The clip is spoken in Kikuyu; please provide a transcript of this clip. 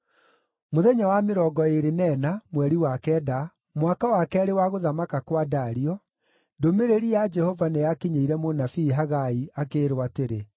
Mũthenya wa mĩrongo ĩĩrĩ na ĩna, mweri wa kenda, mwaka wa keerĩ wa gũthamaka kwa Dario, ndũmĩrĩri ya Jehova nĩyakinyĩire mũnabii Hagai akĩĩrwo atĩrĩ,